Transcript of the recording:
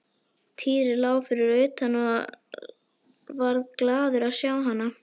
Týri lá fyrir utan og varð glaður að sjá hana.